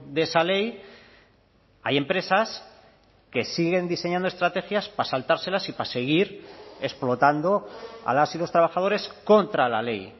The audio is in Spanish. de esa ley hay empresas que siguen diseñando estrategias para saltárselas y para seguir explotando a las y los trabajadores contra la ley